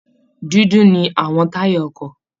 Dúdú ni àwọn táyà ọkọ̀